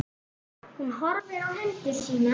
Hún horfir á hendur sínar.